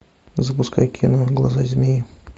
запускай кино глаза змеи